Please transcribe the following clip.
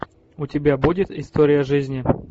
у тебя будет история жизни